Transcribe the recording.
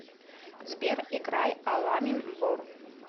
сбер играй аламим бор